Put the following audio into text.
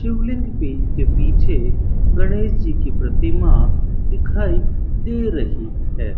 के पीछे गणेश जी की प्रतिमा दिखाई दे रही है।